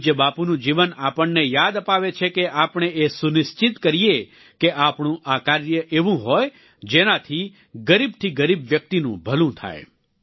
પૂજ્ય બાપુનું જીવન આપણને યાદ અપાવે છે કે આપણે એ સુનિશ્ચિત કરીએ કે આપણું આ કાર્ય એવું હોય જેનાથી ગરીબથી ગરીબ વ્યક્તિનું ભલું થાય